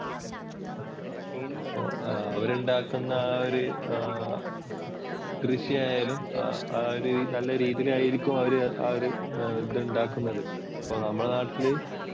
അവരുണ്ടാക്കുന്ന ആ ഒരു കൃഷിയായാലും ആ ഒരു നല്ല രീതിയിലായിരിക്കും അവർ ആ ഒരു ഇതുണ്ടാക്കുന്നത്. ഇപ്പോൾ നമ്മുടെ നാട്ടില്